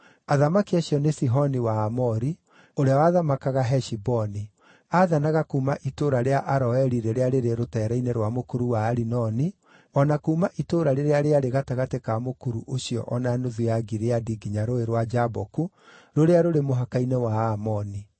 Athamaki acio nĩ Sihoni wa Aamori, ũrĩa wathamakaga Heshiboni. Aathanaga kuuma itũũra rĩa Aroeri rĩrĩa rĩrĩ rũteere-inĩ rwa mũkuru wa Arinoni, o na kuuma itũũra rĩrĩa rĩarĩ gatagatĩ ka mũkuru ũcio o na nuthu ya Gileadi nginya Rũũĩ rwa Jaboku, rũrĩa rũrĩ mũhaka-inĩ wa Aamoni.